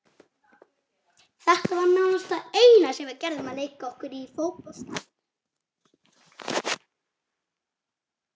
Þetta var nánast það eina sem við gerðum, að leika okkur í fótbolta.